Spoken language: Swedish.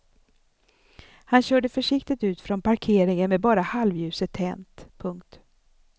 Han körde försiktigt ut från parkeringen med bara halvljuset tänt. punkt